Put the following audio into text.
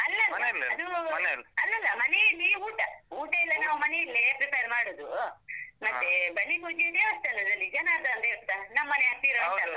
ಅಲ್ಲಲ್ಲ ಮನೆಯಲ್ಲಿ ಊಟ. ಊಟ ಎಲ್ಲಾ ನಮ್ಮ ಮನೆಯಲ್ಲೇ prepare ಮಾಡುದು. ಮತ್ತೇ, ಬಲಿ ಪೂಜೆ ದೇವಸ್ಥಾನದಲ್ಲಿ, ಜನಾರ್ಧನ ದೇವಸ್ಥಾನ. ನಮ್ಮನೆ ಹತ್ತಿರ .